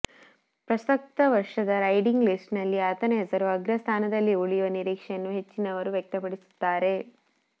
ಪ್ರಸಕ್ತ ವರ್ಷದ riding list ನಲ್ಲಿ ಆತನ ಹೆಸರು ಅಗ್ರ ಸ್ಥಾನದಲ್ಲಿ ಉಳಿಯುವ ನಿರೀಕ್ಷೆಯನ್ನು ಹೆಚ್ಚಿನವರು ವ್ಯಕ್ತಪಡಿಸುತ್ತಾರೆ